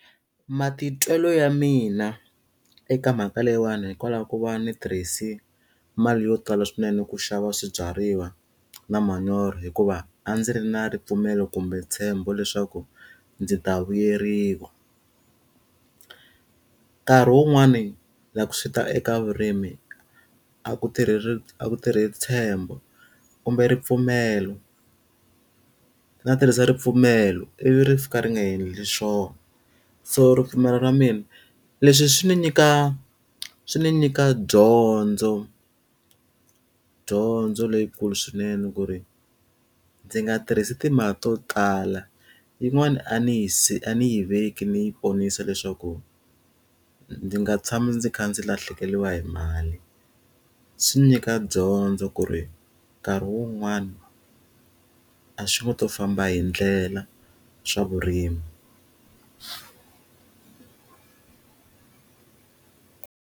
Matitwelo ya mina eka mhaka leyiwani hikwalaho ka ku va ndzi tirhise mali yo tala swinene ku xava swibyariwa na manyoro hikuva, a ndzi ri na ripfumelo kumbe ntshembo leswaku ndzi ta vuyeriwa. Nkarhi wun'wani loko swi ta eka vurimi, a ku tirhi ku tirhi ntshembo kumbe ripfumelo. Ndza tirhisa ripfumelo ivi ri fika ri nga endli swona, so ripfumelo ra mina leswi swi ndzi nyika swi ndzi nyika dyondzo. Dyondzo leyikulu swinene ku ri ndzi nga tirhisi timali to tala, yin'wani a ndzi a ndzi yi veke ndzi yi ponisa leswaku, ndzi nga tshami ndzi kha ndzi lahlekeriwa hi mali. Swi ndzi nyika dyondzo ku ri nkarhi wun'wani, a swi n'wi ngo to famba hi ndlela swa vurimi.